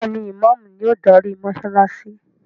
Béèni Imàámu ni o darí mósálásí.